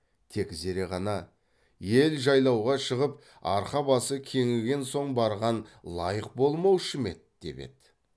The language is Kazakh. тек зере ғана ел жайлауға шығып арқа басы кеңіген соң барған лайық болмаушы ма еді деп еді